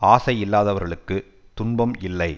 ஆசை இல்லாதவர்களுக்கு துன்பம் இல்லை